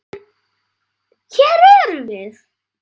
En. hér erum við.